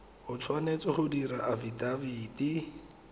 o tshwanetse go dira afidafiti